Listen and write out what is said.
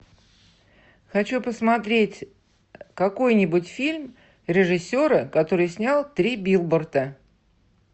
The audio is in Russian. хочу посмотреть какой нибудь фильм режиссера который снял три билборда